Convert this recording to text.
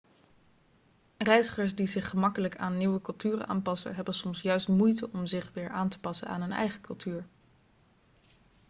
reizigers die zich gemakkelijk aan nieuwe culturen aanpassen hebben soms juist moeite om zich weer aan te passen aan hun eigen cultuur